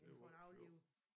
Det var ikke sjov